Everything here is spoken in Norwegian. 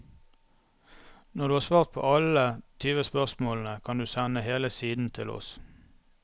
Når du har svart på alle tyve spørsmålene kan du sende hele siden til oss.